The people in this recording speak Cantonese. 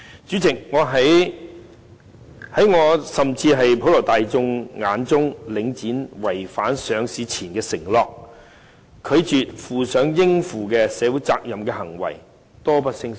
主席，在我甚至是普羅大眾眼中，領展違反上市前的承諾，拒絕負上應負的社會責任的行為，多不勝數。